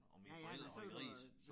Og mine forældre havde grise